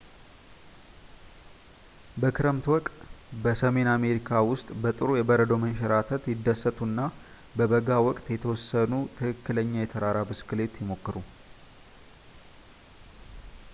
በክረምት ወቅት በሰሜን አሜሪካ ውስጥ በጥሩ የበረዶ መንሸራተት ይደሰቱ እና በበጋ ወቅት የተወሰኑ ትክክለኛ የተራራ ብስክሌት ይሞክሩ